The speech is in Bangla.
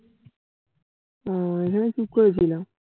ও ওখানেই চুপ করে ছিলাম।